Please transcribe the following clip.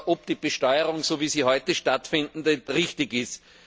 ob die Besteuerung, so wie sie heute stattfindet, richtig ist.